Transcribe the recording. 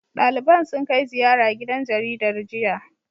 Ɗaliban sun kai ziyara gidan jaridar, jiya.